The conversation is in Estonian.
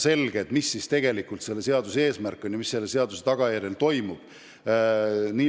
Lõpuks peab saama selgeks, mis tegelikult on seaduse eesmärk ja mis selle tagajärjel toimub.